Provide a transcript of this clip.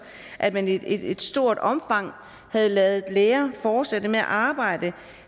at man i et stort omfang havde ladet læger fortsætte med at arbejde